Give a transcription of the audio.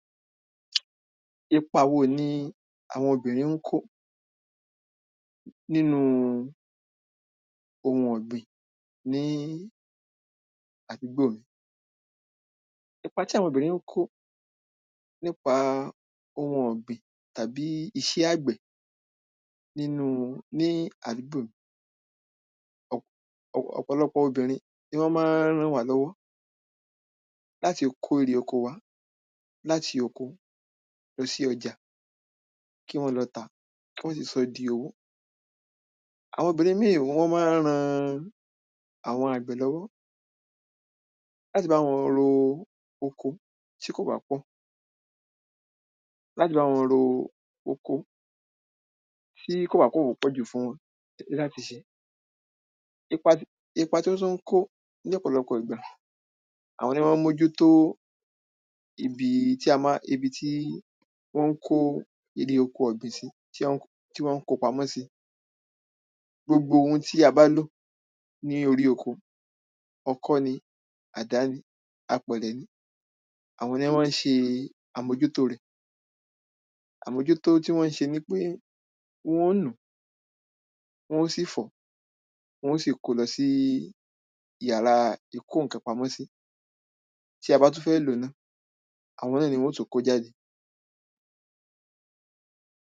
Ipa wo ni àwo̩n obìrin ń kó nínú ohun ò̩gbìn ní àdúgbò mi? Ipa tí àwo̩n obìrín kó nípa ohun ò̩gbìn tàbí is̩é̩ àgbè̩ nínú ní àdúgbò mi. Ò̩pò̩lo̩pò̩ obìnrin ni wó̩n má ń ràn wá ló̩wó̩ láti kó erè oko wa láti oko lo̩ sí o̩jà. Kí wó̩n tà á kí wó̩n sì só̩ di owó. Àwo̩n obìnrin míì wó̩n má ń ran àwo̩n àgbè̩ ló̩wó̩ láti bá wo̩n ro oko tí kò bá pò̩. Láti bá wo̩n ro oko tí kò bá kò pò̩ jù fún wo̩n. Ipa tí ipa tí wó̩n tún ń kó ní ò̩pò̩lo̩pò̩ ìgbà: Àwo̩n ní ó̩n má ń mójútó ibi tí má ibi tí wó̩n ń kó erè oko ò̩gbìn sí tí ó̩n tí wó̩n ń ko pamó̩ sí. Gbogbo ohun tí a bá lò ní orí oko, o̩kó̩ ni, àdá ni, apè̩rè̩ ni, àwo̩n ní ó̩n mán s̩e àmójútó rè̩. Àmójútó tí wó̩n ń s̩e ní pé wó̩n ó nú, wó̩n ó sì fó̩, wó̩n ó sì kó lo̩ sí yàrá ìkó ǹkan pamó̩ sí. Tí a bá tún fé̩ ló náà, àwo̩n náà ni wó̩n ó tún ko jáde.